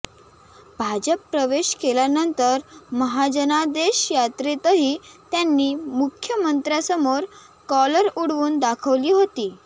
भाजप प्रवेश केल्यानंतर महाजनादेश यात्रेतही त्यांनी मुख्यमंत्र्यांसमोर कॉलर उडवून दाखवली होती